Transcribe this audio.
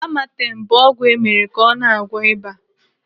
Amatem bụ ọgwụ emere ka ọ na-agwọ ịba.